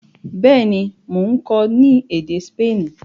béèni Món kò ni èdè Spani.